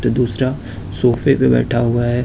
दूसरा सोफे पे बैठा हुआ है।